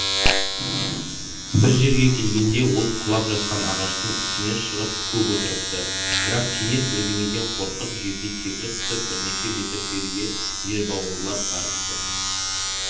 бір жерге келгенде ол құлап жатқан ағаштың үстіне шығып көп отырыпты бірақ кенет бірдеңеден қорқып жерге секіріп түсіп бірнеше метр жерге жер бауырлап барыпты